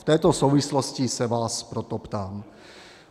V této souvislosti se vás proto ptám.